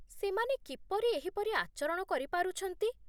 ସେମାନେ କିପରି ଏହିପରି ଆଚରଣ କରିପାରୁଛନ୍ତି?